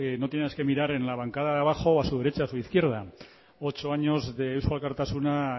no tiene más que mirar en la bancada de abajo a su derecha o a su izquierda ocho años de eusko alkartasuna